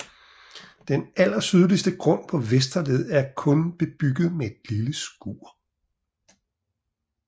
Den allersydligste grund på Vesterled er kun bebygget med et lille skur